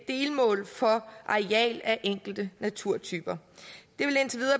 delmål for areal af enkelte naturtyper det